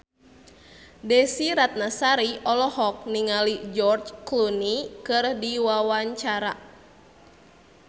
Desy Ratnasari olohok ningali George Clooney keur diwawancara